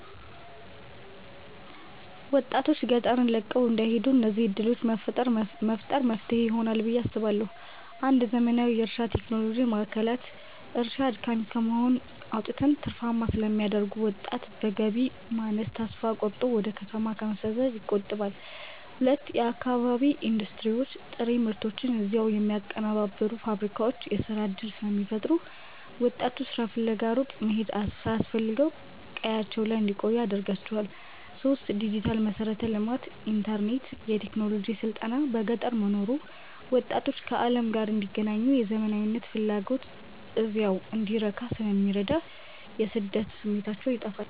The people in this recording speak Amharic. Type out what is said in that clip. ወጣቶች ገጠርን ለቀው እንዳይሄዱ እነዚህን ዕድሎች መፍጠር መፍትሄ ይሆናል ብየ አስባለሁ ፩. ዘመናዊ የእርሻ ቴክኖሎጂ ማዕከላት፦ እርሻን አድካሚ ከመሆን አውጥተው ትርፋማ ስለሚያደርጉት፣ ወጣቱ በገቢ ማነስ ተስፋ ቆርጦ ወደ ከተማ ከመሰደድ ይቆጠባል። ፪. የአካባቢ ኢንዱስትሪዎች፦ ጥሬ ምርቶችን እዚያው የሚያቀነባብሩ ፋብሪካዎች የሥራ ዕድል ስለሚፈጥሩ፣ ወጣቱ ሥራ ፍለጋ ሩቅ መሄድ ሳያስፈልገው ቀያቸው ላይ እንዲቆዩ ያደርጋቸዋል። ፫. ዲጂታል መሠረተ ልማት፦ ኢንተርኔትና የቴክኖሎጂ ስልጠና በገጠር መኖሩ ወጣቶች ከዓለም ጋር እንዲገናኙና የዘመናዊነት ፍላጎታቸው እዚያው እንዲረካ ስለሚረዳ የስደት ስሜታቸውን ያጠፋዋል።